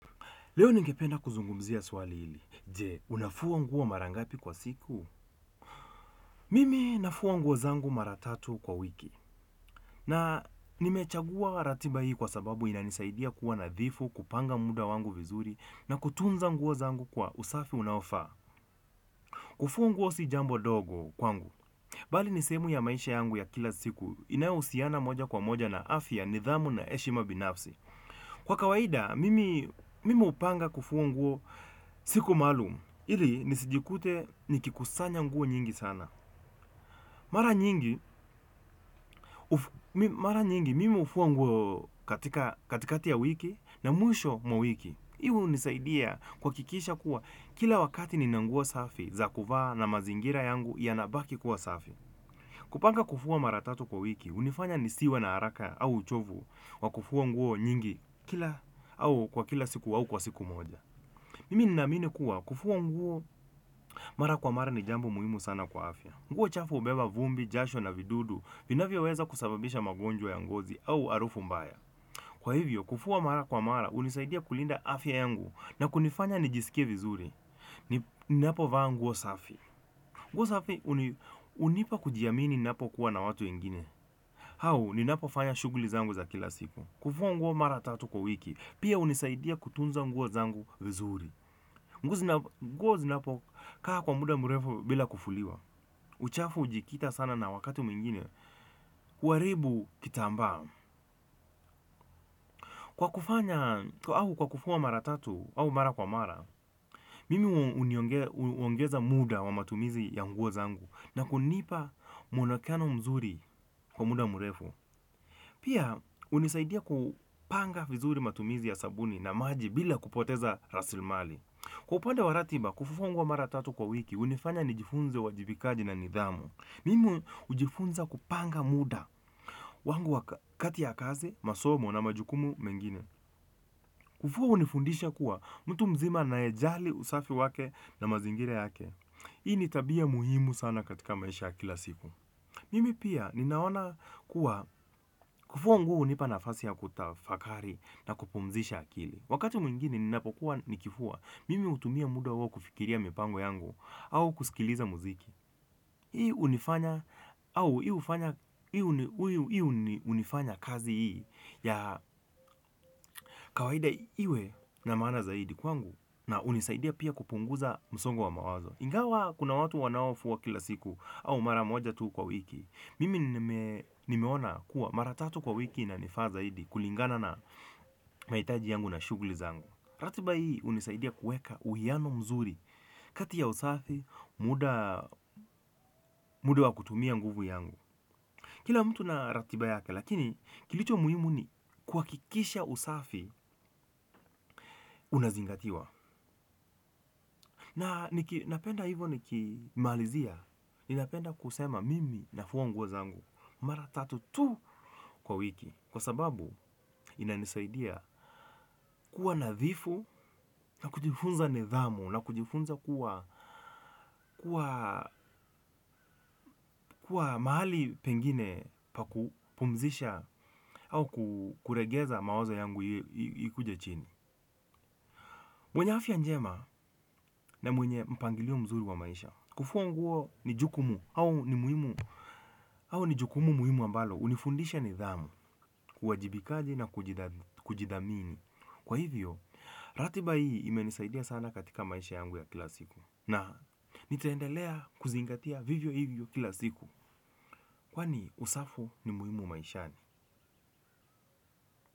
Leo ningependa kuzungumzia swali hili. Je, unafua nguo mara ngapi kwa siku? Mimi nafua nguo zangu mara tatu kwa wiki. Na nimechagua ratiba hii kwa sababu inanisaidia kuwa nadhifu, kupanga muda wangu vizuri na kutunza nguo zangu kwa usafi unaofaa. Kufua nguo si jambo dogo kwangu. Bali nisehemu ya maisha yangu ya kila siku, inayohusiana moja kwa moja na afya, nidhamu na heshima binafsi. Kwa kawaida, mimi hupanga kufua nguo siku maalumu. Ili nisijikute nikikusanya nguo nyingi sana. Mara mara nyingi, mimi hufua nguo katika katikati ya wiki na mwisho mwa wiki. Hivo hunisaidia kuhakikisha kuwa kila wakati nina nguo safi za kuvaa na mazingira yangu yanabaki kuwa safi. Kupanga kufua mara tatu kwa wiki, hunifanya nisiwe na haraka au uchovu wa kufua nguo nyingi kila au kwa kila siku au kwa siku moja. Mimi ninaamini kuwa, kufua nguo mara kwa mara ni jambo muhimu sana kwa afya. Nguo chafu hubeba vumbi, jasho na vidudu, vinavyoweza kusababisha magonjwa ya ngozi au harufu mbaya. Kwa hivyo, kufua mara kwa mara, hunisaidia kulinda afya yangu na kunifanya nijisikie vizuri. Ninapo vaa nguo safi. Nguo safi, hunipa kujiamini ninapokuwa na watu wengine. Au, ninapofanya shughuli zangu za kila siku. Kufua nguo mara tatu kwa wiki, pia hunisaidia kutunza nguo zangu vizuri. Nguo zinapokaa kwa muda murefu bila kufuliwa uchafu ujikita sana na wakati mwingine huaribu kitambaa kwa kufanya au kwa kufua mara tatu au mara kwa mara mimi huongeza muda wa matumizi ya nguo zangu. Na kunipa mwonekano mzuri kwa muda murefu. Pia hunisaidia kupanga vizuri matumizi ya sabuni na maji bila kupoteza rasilimali kwa upande wa ratiba kufua fua nguo mara tatu kwa wiki hunifanya nijifunze uwajibikaji na nidhamu. Mimu hujifunza kupanga muda wangu wakati ya kazi, masomo na majukumu mengine kufua hunifundisha kuwa, mtu mzima anayejali usafi wake na mazingira yake. Hii ni tabia muhimu sana katika maisha ya kila siku. Mimi pia ninaona kuwa kufua nguo hunipa nafasi ya kutafakari na kupumzisha akili. Wakati mwingine ninapokuwa nikifua, mimi hutumia muda huo kufikiria mipango yangu au kusikiliza muziki. Hii hufanya kazi hii ya kawaida iwe na maana zaidi kwangu na hunisaidia pia kupunguza msongo wa mawazo. Ingawa kuna watu wanaofua kila siku au mara moja tu kwa wiki. Mimi nimeona kuwa mara tatu kwa wiki inanifaa zaidi kulingana na mahitaji yangu na shughuli zangu. Ratiba hii hunisaidia kueka uwiano mzuri kati ya usafi, muda muda wa kutumia nguvu yangu kila mtu na ratiba yaka lakini kilicho muhimu ni kuhakikisha usafi unazingatiwa. Na napenda hivyo nikimalizia, ninapenda kusema mimi nafua nguo zangu mara tatu tu kwa wiki. Kwa sababu, inanisaidia kuwa nadhifu na kujifunza nidhamu nakujifunza kuwa kuwa mahali pengine pa kupumzisha au kuregeza mawazo yangu ikuje chini mwenye afya njema na mwenye mpangilio mzuri wa maisha, kufua nguo ni jukumu au ni muhimu, au ni jukumu muhimu ambalo, hunifundisha nidhamu, uwajibikaji na kujidhamini. Kwa hivyo, ratiba hii imenisaidia sana katika maisha yangu ya kila siku na nitaendelea kuzingatia vivyo hivyo kila siku kwani usafi ni muhimu maishani.